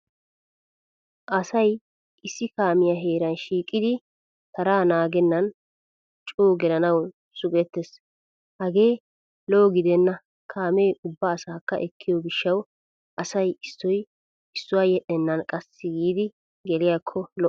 Asay issi kaamiya heeran shiiqidi taraa naaggennan coo gelanawu suggetes. Hagee lo'o gidenna kaamee ubba asaakka ekkiyo gishsha asay issoy issuwaa yedhdhenan qassi giidi geliyaakko lo'o.